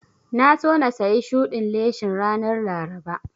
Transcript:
Na so na sayi shudin leshin ranar Laraba